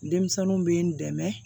Denmisɛnninw bɛ n dɛmɛ